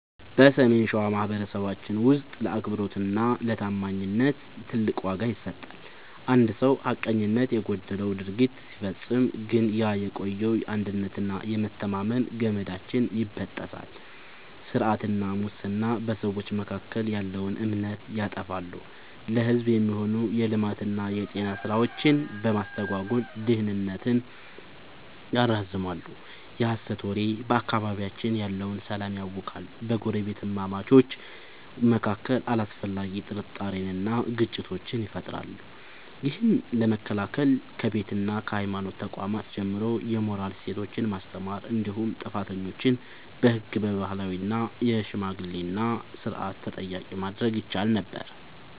በሰሜን ሸዋ ማኅበረሰባችን ውስጥ ለአብሮነትና ለታማኝነት ትልቅ ዋጋ ይሰጣል። አንድ ሰው ሐቀኝነት የጎደለው ድርጊት ሲፈጽም ግን ያ የቆየው የአንድነትና የመተማመን ገመዳችን ይበጠሳል። ስርቆትና ሙስና፦ በሰዎች መካከል ያለውን እምነት ያጠፋሉ፤ ለሕዝብ የሚሆኑ የልማትና የጤና ሥራዎችን በማስተጓጎል ድህነትን ያራዝማሉ። የሐሰት ወሬ፦ በአካባቢያችን ያለውን ሰላም ያውካል፤ በጎረቤታማቾች መካከል አላስፈላጊ ጥርጣሬንና ግጭትን ይፈጥራል። ይህን ለመከላከል ከቤትና ከሃይማኖት ተቋማት ጀምሮ የሞራል እሴቶችን ማስተማር እንዲሁም ጥፋተኞችን በሕግና በባህላዊ የሽምግልና ሥርዓት ተጠያቂ ማድረግ ይቻል ነበር።